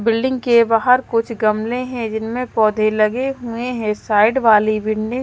building के बाहर कुछ गमले हैं जिनमें पौधे लगे हुए हैं साइड वाली बिल्डिंग --